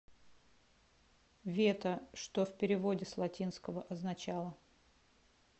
вето что в переводе с латинского означало